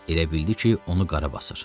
Elə bildi ki, onu qara basır.